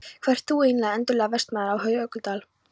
Hver ert þú eiginlega, undarlegi vestanmaður af Jökuldal?